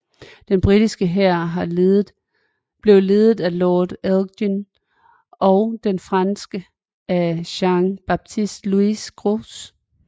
Den britiske hær blev ledet af Lord Elgin og den franske af Jean Baptiste Louis Gros